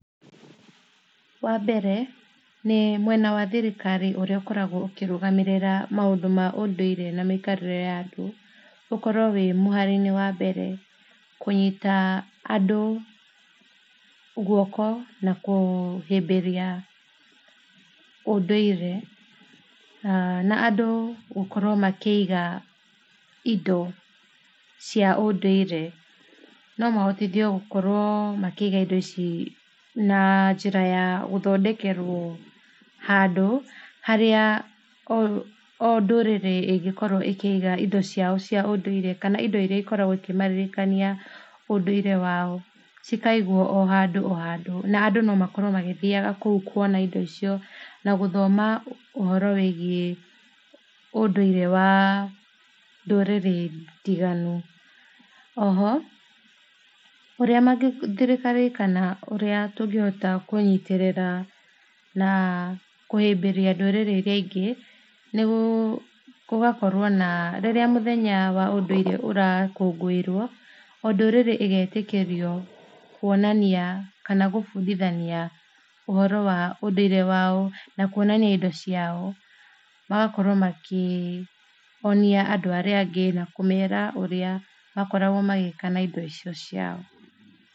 Wa mbere nĩ mwena wa thirikari ũrĩa ũkoragwo ũkĩrũgamĩrĩra maũndũ ma ũndũire na mĩikarĩre ya andũ, ũkorwo wĩ mũhari wa mbere kũnyita andũ guoko na kũhĩmbĩria ũndũire na andũ gũkorwo makĩiga indo cia ũndũire, no mahptithio gũkorwo makĩiga indo ici na njĩra ya gũthondekerwo handu harĩa o ndũrĩrĩ ĩngĩkorwo ĩkĩiga indo ciao cia ũndũire kana indo iria ikoragwo ikĩmaririkania ũndũire wao, cikaigwo o handũ o handũ ma andũ no makorwo magĩthiaga kũu kwona indo icio na gũthoma ũhoro wĩgie ndũrĩrĩ ndiganu, oho ũrĩa thirikari kana tũngĩhota kũnyitĩrĩra na kũhũmbĩria ndũrĩrĩ iria ingĩ, rĩrĩa mũthenya wa ũndũire ũrakũngũĩrwo o ndũrĩrĩ ĩgetĩkĩrio kwonania kana gũbundithania ũhoro wa ũndũire wao na kwonania indo ciao na magakorwo makonia andũ arĩa angĩ na kũmera ũrĩa makoragwo magĩka na indo icio ciao.